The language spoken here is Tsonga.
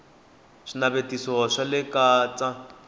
swinavetiso swa le ka t